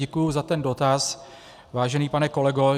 Děkuji za ten dotaz, vážený pane kolego.